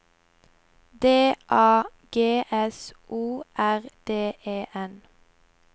D A G S O R D E N